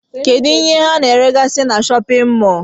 Kedụ ihe ana ere gasị n'shóppin mol?